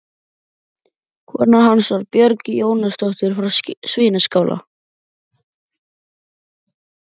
Kona hans var Björg Jónasdóttir frá Svínaskála.